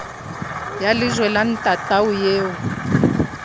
ya lejwe la ntatao eo